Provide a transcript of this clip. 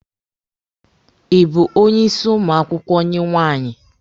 Ị bụ onye ịsị ụmụ akwụkwọ nke nwaanyị?